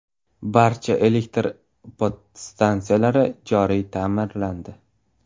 Barcha elektr podstansiyalari joriy ta’mirlandi.